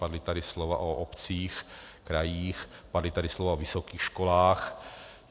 Padla tady slova o obcích, krajích, padla tady slova o vysokých školách.